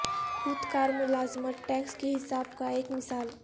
خود کار ملازمت ٹیکس کی حساب کا ایک مثال